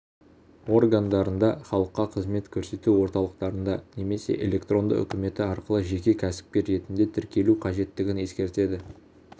органдарында халыққа қызмет көрсету орталықтарында немесе электронды үкіметі арқылы жеке кәсіпкер ретінде тіркелу қажеттігін ескертеді